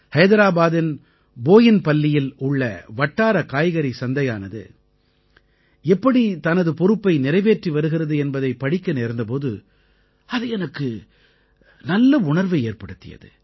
ஹைதராபாதின் போயின்பல்லியில் உள்ள வட்டார காய்கறி சந்தையானது எப்படி தனது பொறுப்பை நிறைவேற்றி வருகிறது என்பதைப் படிக்க நேர்ந்த போது அது எனக்கு நல்ல உணர்வை ஏற்படுத்தியது